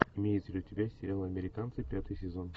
имеется ли у тебя сериал американцы пятый сезон